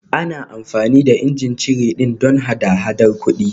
Ana amfani da ijin cire ɗin don hada-hadar kuɗi